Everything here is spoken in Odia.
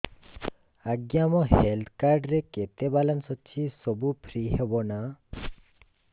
ଆଜ୍ଞା ମୋ ହେଲ୍ଥ କାର୍ଡ ରେ କେତେ ବାଲାନ୍ସ ଅଛି ସବୁ ଫ୍ରି ହବ ନାଁ